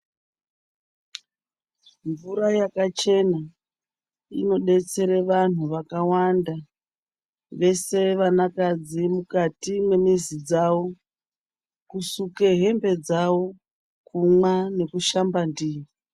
Mvura yaka chena inobetsere vanhu vaka wanda vese vanakadzi mukati memizi dzawo kusuke hembe dzawo kumwa neku shamba ndiyo .